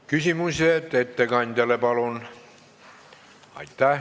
Küsimused ettekandjale palun!